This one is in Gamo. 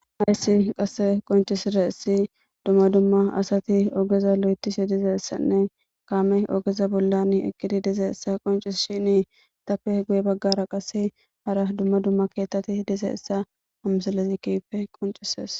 Hayssi qase qoncisizayissi dumma dumma asati ogeza lo'etishi dizeessanne kaame ogeza bollan eqidi dizayissa qoncisshini etappe guye baggara qas hara dumma dumma keettati dizayissa ha misilezi kehife qoncisees